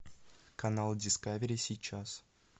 канал дискавери сейчас